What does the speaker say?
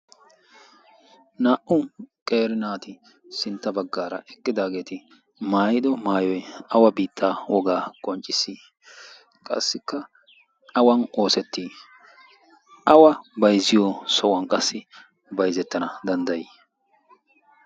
Naa'u qeri naati sintta baggaara eqqidaageeti maayido maayoi awa biittaa wogaa qonccissii qassikka awan oosettii awa baizziyo so'uwan qassi baizzettana danddayii?